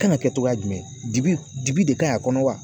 Kan ka kɛ cogoya jumɛn dibi dibi de ka ɲi a kɔnɔ wa